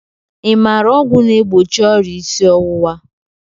I maara ọgwụ na-egbochi ọrịa isi ọwụwa?